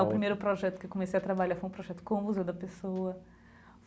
O primeiro projeto que eu comecei a trabalhar foi um projeto com o Museu da Pessoa.